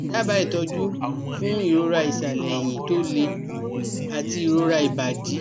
Daba ìtọ́jú fún ìroraisale ẹ̀yìn tó le àti ìrora ibadi